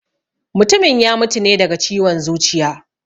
Mutumin ya mutu ne daga ciwon zuciya